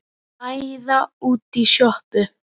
Æða út í sjoppu!